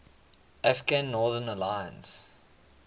afghan northern alliance